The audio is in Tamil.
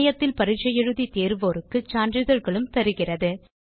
இணையத்தில் பரிட்சை எழுதி தேர்வோருக்கு சான்றிதழ்களும் தருகிறது